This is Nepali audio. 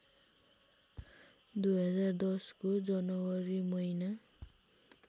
२०१० को जनवरी महिना